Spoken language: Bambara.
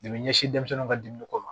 ɲɛsin denmisɛnw ka dumuni ko ma